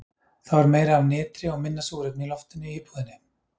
Þá er meira af nitri og minna súrefni í loftinu í íbúðinni.